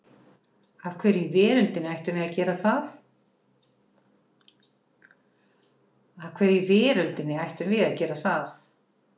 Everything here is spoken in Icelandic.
Af hverju í veröldinni ættum við að gera það?